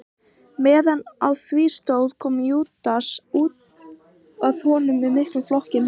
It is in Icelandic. Meðan á því stóð kom Júdas að honum með miklum flokki manna.